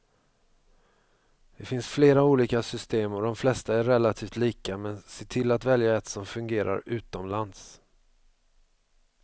Det finns flera olika system och de flesta är relativt lika, men se till att välja ett som fungerar utomlands.